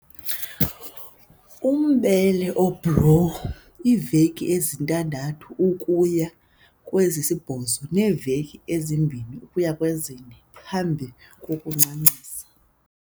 Umbele obhlowu, iiveki ezi-6 ukuya kwezi-8 neeveki ezi-2 ukuya kwe-4 phambi kokuncancisa.